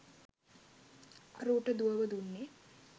අරූට දුවව දුන්නේ